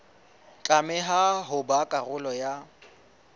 tlameha ho ba karolo ya